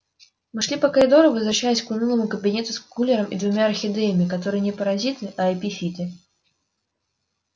мы шли по коридору возвращаясь к унылому кабинету с кулером и двумя орхидеями которые не паразиты а эпифиты